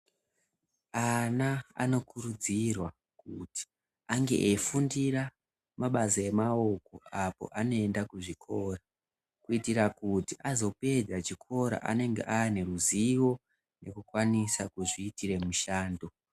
Ana anokuridzirwa kuti ange eifundira mabasa emaoko apo anoenda kuzvikora kuitira kuti azopedza chikora anenge ane ruzivo rekukwanisa kuzviitira mushando .